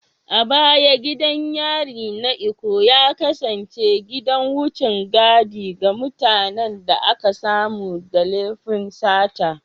A baya gidan yarin Ikoyi ya kasance gidan wucen gadi ga mutanen da aka samu da laifin sata